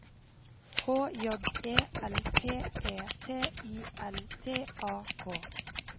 H J E L P E T I L T A K